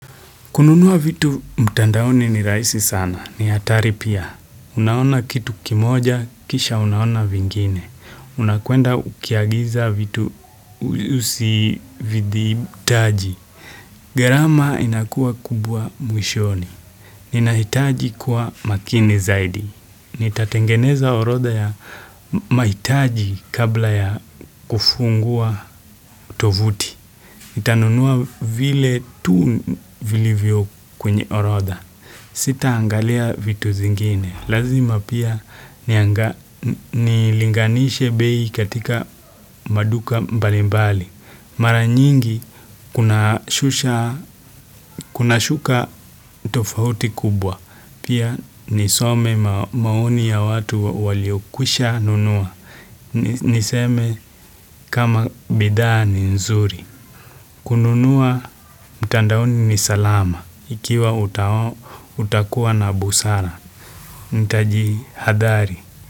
Kununua vitu mtandaoni ni rahisi sana. Ni hatari pia. Unaona kitu kimoja, kisha unaona vingine. Unakuenda ukiagiza vitu usividhibitaji gharama inakuwa kubwa mwishoni. Ninahitaji kuwa makini zaidi. Nitatengeneza oroda ya mahitaji kabla ya kufungua tovuti. Nitanunua vile tu vilivyo kwenye orodha. Sitaangalia vitu zingine. Lazima pia nilinganishe bei katika maduka mbalimbali. Mara nyingi kuna shusha kuna shuka tofauti kubwa. Pia nisome maoni ya watu waliokwisha nunua. Niseme kama bidhaa ni nzuri. Kununua mtandaoni ni salama ikiwa utakuwa na busara. Nitajihadhari.